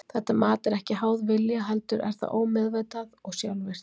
Þetta mat er ekki háð vilja heldur er það ómeðvitað og sjálfvirkt.